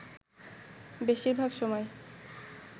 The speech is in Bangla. বেশির ভাগ সময়